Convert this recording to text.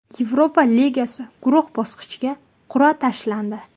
Yevropa Ligasi guruh bosqichiga qur’a tashlandi.